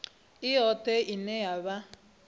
i yoṱhe ine ya vha